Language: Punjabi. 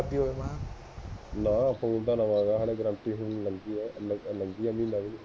ਨਾ ਫ਼ੋਨ ਤਾ ਨਵਾਂ ਐ ਹਜੇ ਲੰਘੀ ਏ ਗਾਰੰਟੀ ਮਹੀਨਾ ਕੁ ਫ਼ੋਨ ਤਾਂ ਡੱਬਾ ਬੰਦ